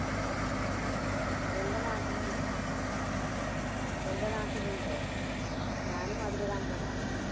എൻ്റെ നാട്ടിലുണ്ട്. എൻ്റെ നാട്ടിലുണ്ട്. ഞാനും അതിലൊരു അംഗമാണ്.